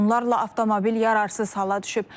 Onlarla avtomobil yararsız hala düşüb.